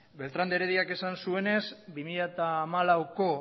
beltrán de herediak esan zuenez bi mila hamalauko